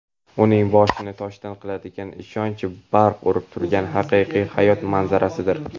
uning boshini "toshdan" qiladigan ishonch barq urib turgan haqiqiy hayot manzarasidir".